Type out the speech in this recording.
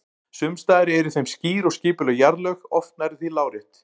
Sums staðar eru í þeim skýr og skipuleg jarðlög, oft nærri því lárétt.